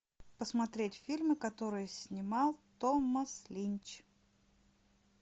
посмотреть фильмы которые снимал томас линч